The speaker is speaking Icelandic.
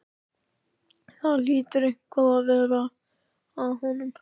Það hlýtur eitthvað að vera að honum.